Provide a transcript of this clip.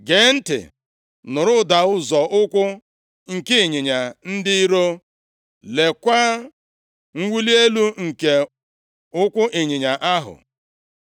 Gee ntị nụrụ ụda nzọ ụkwụ nke ịnyịnya ndị iro. Leekwa mwuli elu nke ụkwụ ịnyịnya ahụ!